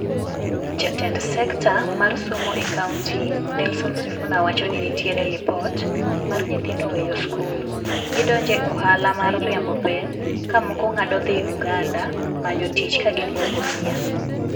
Jatend sekta mar somo e kaunti Nelson Sifuna wacho ni nitiere lipot mar nyithindo weyo skul. Gidonje ohala mar riembo peng' ka moko ng'ado dhi Uganda manyo tich kagiluo Busia.